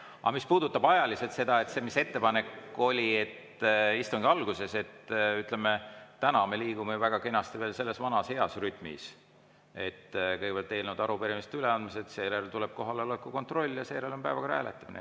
Aga mis puudutab ajaliselt seda, mis ettepanek oli, et istungi alguses, siis täna me liigume väga kenasti selles vanas heas rütmis: kõigepealt eelnõude ja arupärimiste üleandmine, seejärel tuleb kohaloleku kontroll ja seejärel on päevakorra hääletamine.